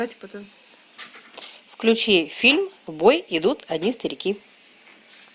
включи фильм в бой идут одни старики